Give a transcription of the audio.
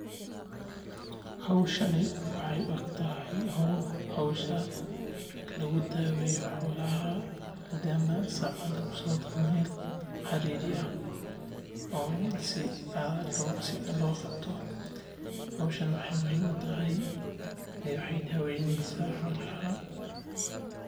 Howshan waxeey u eg tahay howsha lagu daweyo xolaha madama saca meel lasoo galiye waxeey muhiim utahay waxeey daweyneysa xolaha.